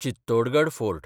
Chittorgarh fort